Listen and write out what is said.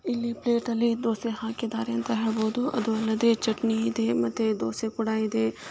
ಇಲ್ಲಿ ಪ್ಲೇಟ್ ಅಲ್ಲಿ ದೋಸೆ ಹಾಕ್ಕಿದ್ದಾರೆ ಅಂತ ಹೇಳ್ಬೋದು ಅದು ಅಲ್ಲದೆ ಚಟ್ನಿ ಇದೆ ಮತ್ತೆ ದೋಸೆ ಕೂಡ ಇದೆ.